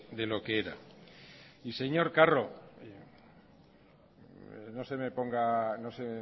de lo que era y señor carro no se me ponga no se